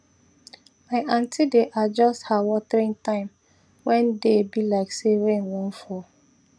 my aunty dey adjust her watering time when day be like say rain wan fall